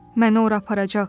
Məni ora aparacaqlar.